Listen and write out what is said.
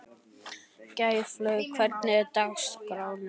Gæflaug, hvernig er dagskráin?